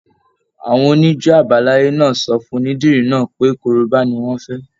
Àwọn onijo abalaye náà sọ fún onídìrí náà pé korobá ni wọn fẹ.